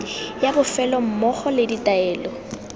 ya bofelo mmogo le ditaelo